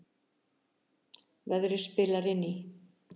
Verðið spilar inn í